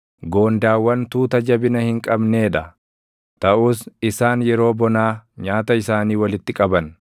Goondaawwan tuuta jabina hin qabnee dha; taʼus isaan yeroo bonaa nyaata isaanii walitti qaban;